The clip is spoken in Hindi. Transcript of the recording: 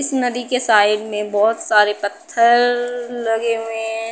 इस नदी के साइड में बहुत सारे पत्थररररर लगे हुए हैं।